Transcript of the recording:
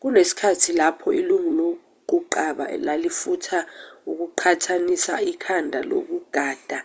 kunesikhathi lapho ilungu loquqaba lalifuna ukunqathuzisa ikhanda lonogada